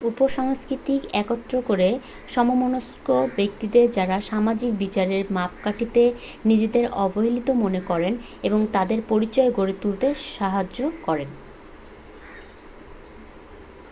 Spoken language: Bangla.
উপ-সংস্কৃতি একত্র করে সমমনস্ক ব্যক্তিদের যারা সামাজিক বিচারের মাপকাঠিতে নিজেদের অবহেলিত মনে করেন এবং তাদের পরিচয় গড়ে তুলতে সাহায্য় করে